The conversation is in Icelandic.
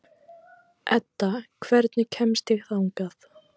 Edda, hvernig kemst ég þangað?